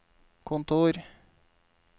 kontor